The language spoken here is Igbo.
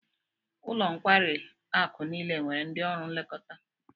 Ụlọ nkwari akụ niile nwere ndị ọrụ nlekọta